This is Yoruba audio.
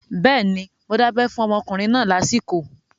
Bẹ́ẹ̀ni, mo dábẹ́ fún ọmọkùnrin náà lásìkò